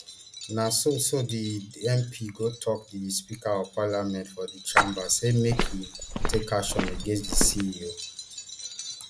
na so so di mp go tok di speaker of parliament for di chamber say make im take action against di ceo